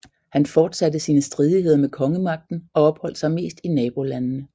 Han fortsatte sine stridigheder med kongemagten og opholdt sig mest i nabolandene